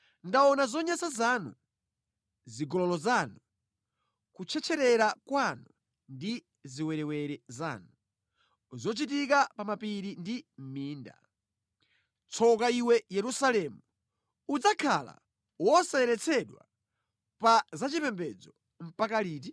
Ndaona zonyansa zanu: zigololo zanu, kutchetcherera kwanu ndi ziwerewere zanu, zochitika pa mapiri ndi mʼminda. Tsoka iwe Yerusalemu! Udzakhala wosayeretsedwa pa zachipembedzo mpaka liti?”